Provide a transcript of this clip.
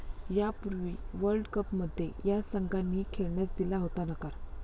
यापूर्वी वर्ल्डकपमध्ये या संघांनीही खेळण्यास दिला होता नकार